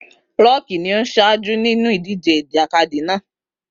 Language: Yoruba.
Rọ́ọ̀kì ni ó ń ṣáájú nínú ìdíje ìjàkadì náà